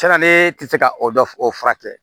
Tiɲɛna ne tɛ se ka o dɔ o furakɛ